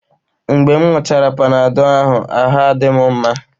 Mgbe m ṅụọchara Panadọ ahụ, ahụ́ adị m mma